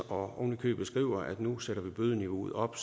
og ovenikøbet står at vi nu sætter bødeniveauet op